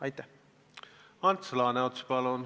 Ants Laaneots, palun!